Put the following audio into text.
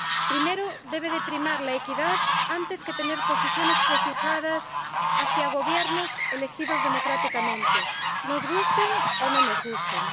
primero debe primar la equidad antes que tener posiciones prefijadas hacia gobiernos elegidos democráticamente, nos gusten o no nos gusten.